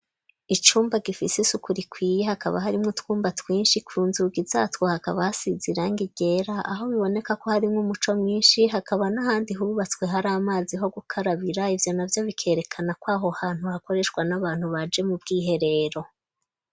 Icumba gifise isuku rikwiye hakaba hari mwo twumba twinshi kunzugi zatwo hakaba hasize irange ryera . Aho biboneka ko hari nko umuco mwinshi hakaba n'ahandi hubatswe . Hari amazi ho gukarabira ivyo navyo bikerekana ko aho hantu hakoreshwa n'abantu baje mu bw'iherero.